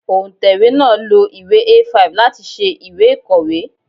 Òǹtẹ̀wé náà lo ìwé A5 láti ṣe ìwé ìkọ̀wé.